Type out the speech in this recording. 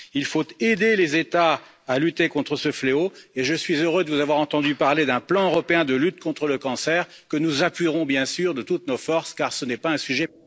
Il faut aider les États à lutter contre ce fléau et je suis heureux de vous avoir entendu parler d'un plan européen de lutte contre le cancer, que nous appuierons bien sûr de toutes nos forces, car ce n'est pas un sujet...